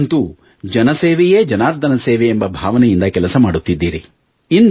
ನೀವಂತೂ ಜನಸೇವೆಯೇ ಜನಾರ್ಧನ ಸೇವೆ ಎಂಬ ಭಾವನೆಯಿಂದ ಕೆಲಸ ಮಾಡುತ್ತಿದ್ದೀರಿ